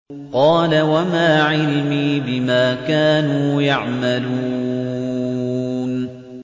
قَالَ وَمَا عِلْمِي بِمَا كَانُوا يَعْمَلُونَ